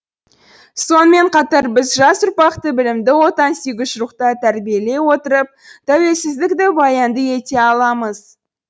сонымен қатар біз жас ұрпақты білімді отансүйгіш рухта тәрбиелей отырып тәуелсіздікті баянды ете аламыз